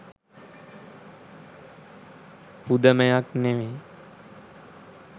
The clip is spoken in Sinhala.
පුදමයක් නෙමෙයි.